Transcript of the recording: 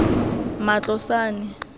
matlosane